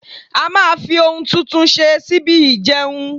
a ma fi oun tuntun ṣe síbí ìjeun